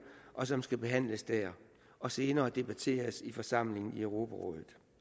og som skal behandles dér og senere debatteres i forsamlingen i europarådet